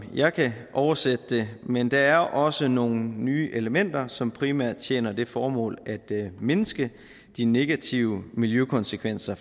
jeg kan oversætte det men der er også nogle nye elementer som primært tjener det formål at mindske de negative miljøkonsekvenser